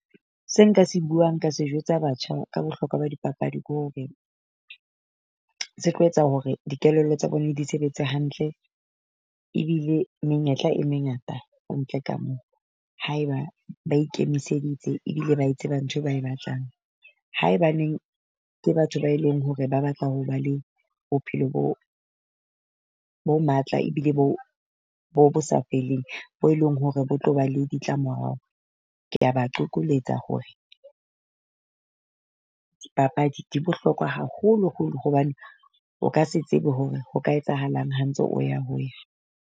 Se nka se buang ka se jwetsa batjha ka bohlokwa ba dipapadi ke hore, se tlo etsa hore dikelello tsa bone di sebetse hantle. Ebile menyetla e mengata ka ntle ka moo. Hae ba ba ikemiseditse ebile ba e tseba ntho ba e batlang. Haebaneng ke batho ba e leng hore ba batla ho ba le bophelo bo bo matla ebile bo bo bo sa feleng bo eleng hore bo tlo ba le ditlamorao. Kea ba qokoletsa hore dipapadi di bohlokwa haholoholo hobane o ka se tsebe hore ho ka etsahalang ha ntse o ya ho ya.